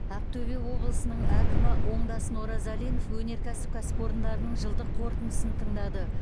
ақтөбе облысының әкімі оңдасын оразалин өнеркәсіп кәсіпорындарының жылдық қорытындысын тыңдады